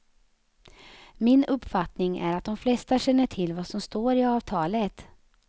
Min uppfattning är att de flesta känner till vad som står i avtalet.